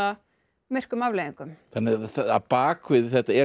myrkum afleiðingum þannig að bak við þetta